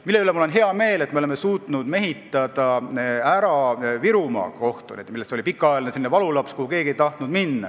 Mul on hea meel selle üle, et me oleme suutnud mehitada Virumaa kohtud, mis oli pikka aega valulaps, kuhu keegi ei tahtnud minna.